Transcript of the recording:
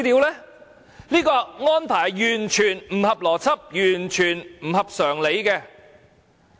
這安排是完全不合邏輯，完全不合常理。